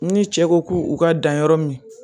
Ni cɛ ko k'u ka dan yɔrɔ min